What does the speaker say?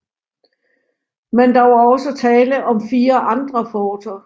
Men der var også tale om 4 andre forter